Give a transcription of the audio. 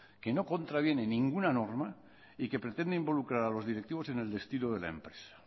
que no contraviene ninguna norma y que pretende involucrar a los directivos en el destino de la empresa